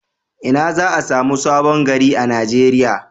Ina za a samu Sabon gari a Nigeriya.